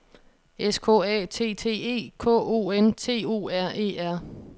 S K A T T E K O N T O R E R